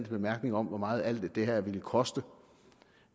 bemærkninger om hvor meget alt det her ville koste